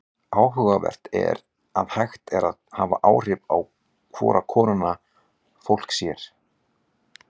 Áhugavert er að hægt er að hafa áhrif á hvora konuna fólk sér.